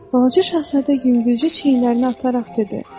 Balaca şahzadə yüngülcə çiynlərini ataraq dedi: